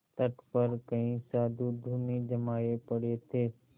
तट पर कई साधु धूनी जमाये पड़े थे